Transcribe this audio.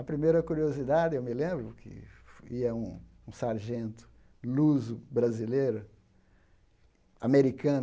A primeira curiosidade, eu me lembro, que ia um um sargento luso-brasileiro, americano,